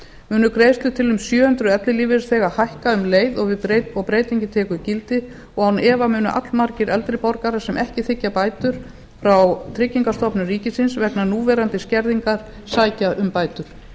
munu greiðslur til um sjö hundruð ellilífeyrisþega hækka um leið og breytingin tekur gildi og án efa munu allmargir eldri borgarar sem ekki þiggja bætur frá tryggingastofnun ríkisins vegna núverandi skerðingar sækja um bætur